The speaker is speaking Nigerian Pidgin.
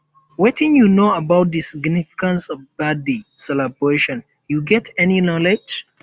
wetin you know about di significance of birthday celebrations you get any knowledge